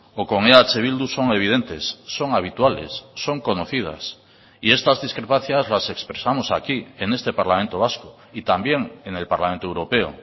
o con eh bildu son evidentes son habituales son conocidas y estas discrepancias las expresamos aquí en este parlamento vasco y también en el parlamento europeo